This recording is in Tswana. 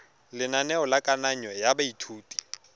lenaneo la kananyo ya baithuti